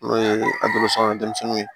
N'o ye denmisɛnninw ye